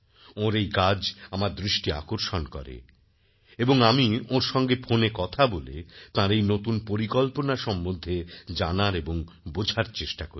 ওঁর এই কাজ আমার দৃষ্টি আকর্ষণ করে এবং আমি ওঁর সঙ্গে ফোনে কথা বলে তাঁর এই নতুন পরিকল্পনা সম্বন্ধে জানার এবং বোঝার চেষ্টা করি